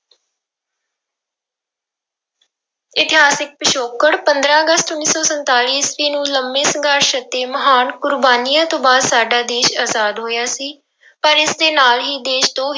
ਇਤਿਹਾਸਿਕ ਪਿਛੋਕੜ ਪੰਦਰਾਂ ਅਗਸਤ ਉੱਨੀ ਸੌ ਸੰਤਾਲੀ ਈਸਵੀ ਨੂੰ ਲੰਬੇ ਸੰਘਰਸ਼ ਅਤੇ ਮਹਾਨ ਕੁਰਬਾਨੀਆਂ ਤੋਂ ਬਾਅਦ ਸਾਡਾ ਦੇਸ ਆਜ਼ਾਦ ਹੋਇਆ ਸੀ, ਪਰ ਇਸਦੇ ਨਾਲ ਹੀ ਦੇਸ ਦੋ